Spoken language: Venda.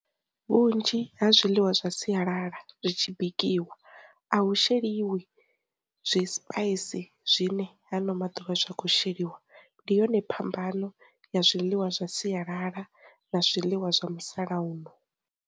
Vhunzhi ha zwiḽiwa zwa sialala zwi tshi bikiwa, a hu sheliwi zwi spice zwine ha ano maḓuvha zwa khou sheliwa, ndi yone phambano ya zwiḽiwa zwa sialala na zwiḽiwa zwa musalauno.